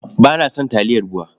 Ba na son taliyar BUA.